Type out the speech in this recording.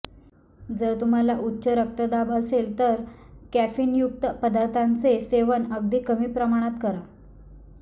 जर तुम्हाला उच्च रक्तदाब असेल तर कॅफिनयुक्त पदार्थांचे सेवन अगदी कमी प्रमाणात करा